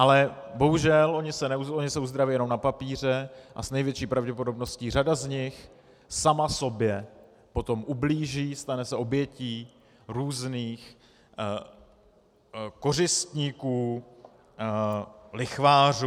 Ale bohužel oni se uzdraví jenom na papíře a s největší pravděpodobností řada z nich sama sobě potom ublíží, stane se obětí různých kořistníků, lichvářů.